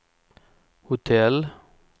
hotell